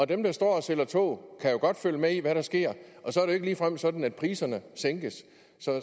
dem der står og sælger tog kan jo godt følge med i hvad der sker og så er det ikke ligefrem sådan at priserne sænkes